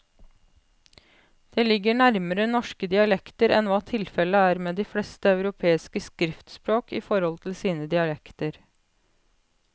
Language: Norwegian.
Det ligger nærmere norske dialekter enn hva tilfellet er med de fleste europeiske skriftspråk i forhold til sine dialekter.